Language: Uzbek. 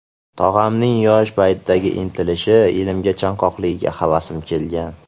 Tog‘amning yosh paytidagi intilishi, ilmga chanqoqligiga havasim kelgan.